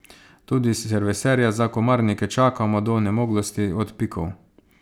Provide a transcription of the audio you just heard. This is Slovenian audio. Tudi serviserja za komarnike čakamo do onemoglosti od pikov.